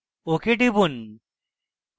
ok টিপুন